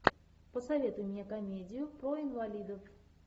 посоветуй мне комедию про инвалидов